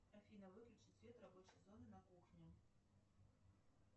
афина выключи свет рабочей зоны на кухне